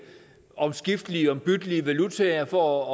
omskiftelige ombyttelige valutaer for